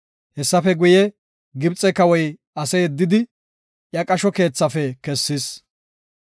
Hessafe guye Gibxe kawoy ase yeddidi, iya qasho keethafe kessis.